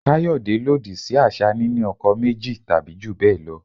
Kayode lòdì sí àṣà níni ọkọ méjì tàbí jù bẹ́ẹ̀ lọ.